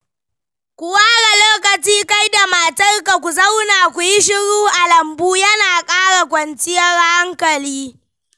Ku ware lokaci kai da matarka ku zauna ku yi shiru a lambu yana ƙara kwancinyar hankali.